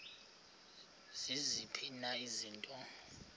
ziziphi na izinto